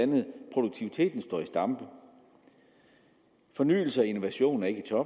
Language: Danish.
produktiviteten står i stampe at fornyelse og innovation ikke er